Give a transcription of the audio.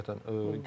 Həqiqətən.